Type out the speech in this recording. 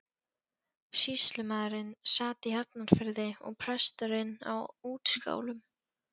Sýslumaðurinn sat í Hafnarfirði og presturinn á Útskálum.